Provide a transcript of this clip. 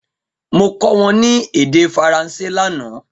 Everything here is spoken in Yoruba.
Mo kọ wọn ni ede Faranse lana